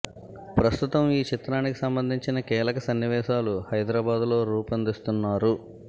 ప్రస్తుతం ఈ చిత్రానికి సంబంధించిన కీలక సన్నివేశాలు హైదరాబాద్ లో రుపిందిస్తున్నారు